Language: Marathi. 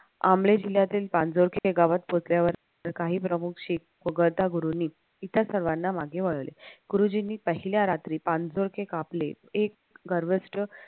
आंबळे जिल्ह्यातील गावात पोहोचल्यावर काही प्रमुख शीख वगळता गुरूंनी इथल्या सर्वाना मागे वळले गुरुजींनी पहिल्या रात्री कापले एक